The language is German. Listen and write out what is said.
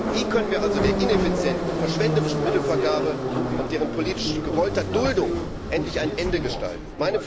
Wie können wir also der ineffizienten und verschwenderischen Mittelvergabe und deren politisch gewollter Duldung endlich ein Ende bereiten?